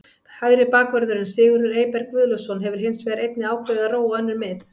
Hægri bakvörðurinn Sigurður Eyberg Guðlaugsson hefur hins vegar einnig ákveðið að róa á önnur mið.